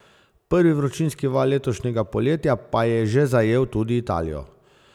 Prvi vročinski val letošnjega poletja pa je že zajel tudi Italijo.